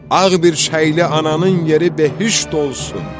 Ağ birçəkli ananın yeri behişt olsun.